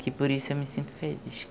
Que por isso eu me sinto feliz.